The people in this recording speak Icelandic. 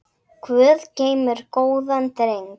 Guð geymir góðan dreng.